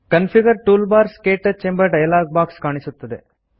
configure toolbars - ಕ್ಟಚ್ ಎಂಬ dialog box ಕಾಣುತ್ತದೆ